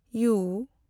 U